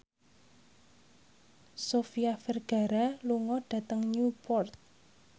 Sofia Vergara lunga dhateng Newport